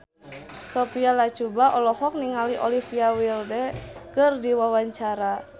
Sophia Latjuba olohok ningali Olivia Wilde keur diwawancara